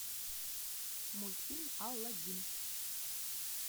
мультфильм алладин